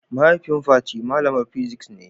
mahaifin Fati malamar physics ne.